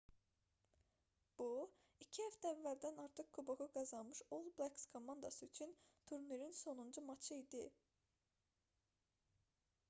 bu iki həftə əvvəldən artıq kuboku qazanmış all blacks komandası üçün turnirin sonuncu matçı idi